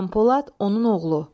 Qampolad, onun oğlu.